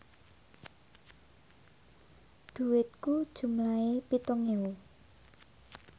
dhuwitku jumlahe pitung ewu